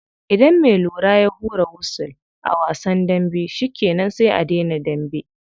Idan me lura ya hura wusul a wasan dambe shikenan sai a dena dambe.